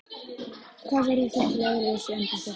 Hvað verður þitt leiðarljós í embætti?